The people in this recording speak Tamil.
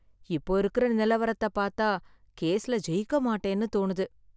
இப்போ இருக்குற நிலவரத்தைப் பார்த்தா, கேஸ்ல ஜெயிக்க மாட்டேன்னு தோணுது.